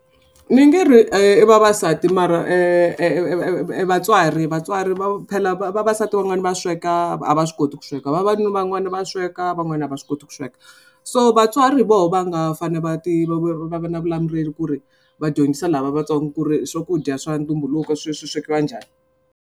Ni nge ri i vavasati mara e vatswari vatswari va phela vavasati van'wana va sweka a va swi koti ku sweka vavanuna van'wana va sweka van'wana a va swi koti ku sweka. So vatswari voho va nga fanele va va va na ku ri va dyondzisa lava vatsongo ku ri swakudya swa ntumbuluko swi swi swekiwa njhani.